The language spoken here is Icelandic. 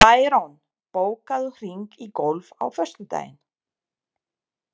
Bæron, bókaðu hring í golf á föstudaginn.